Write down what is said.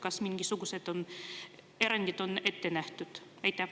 Kas mingisugused erandid on ette nähtud?